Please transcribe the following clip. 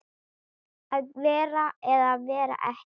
Að vera eða vera ekki.